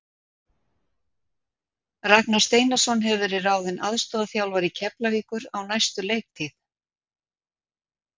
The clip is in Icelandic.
Ragnar Steinarsson hefur verið ráðinn aðstoðarþjálfari Keflavíkur á næstu leiktíð.